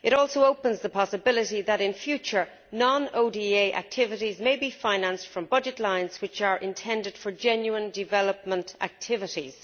It also opens the possibility that, in future, non ODA activities may be financed from budget lines which are intended for genuine development activities.